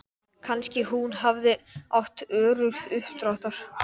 Þar er allt morandi í tundurduflum og einhverju stórhættulegu drasli.